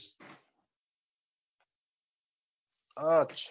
અચ્છા